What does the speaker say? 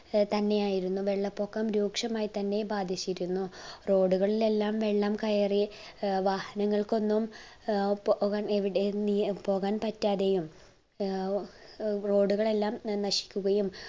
ഏർ തന്നെയായിരുന്നു. വെള്ളപൊക്കം രൂക്ഷമായി തന്നെ ബാധിച്ചിരുന്നു road കളിലെല്ലാം വെള്ളം കയറി ഏർ വാഹനങ്ങൾക്കൊന്നും ഏർ പോവാൻ എവിടെയും നീ ഏർ പോവാൻ പറ്റാതെയും ഏർ road കളെല്ലാം ന നശിക്കുകയും